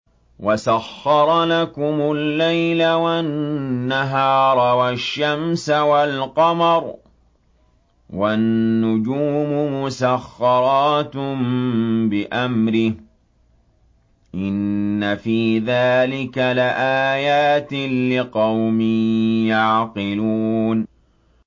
وَسَخَّرَ لَكُمُ اللَّيْلَ وَالنَّهَارَ وَالشَّمْسَ وَالْقَمَرَ ۖ وَالنُّجُومُ مُسَخَّرَاتٌ بِأَمْرِهِ ۗ إِنَّ فِي ذَٰلِكَ لَآيَاتٍ لِّقَوْمٍ يَعْقِلُونَ